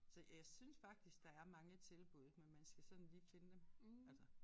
Så jeg synes faktisk der er mange tilbud men man skal sådan lige finde dem altså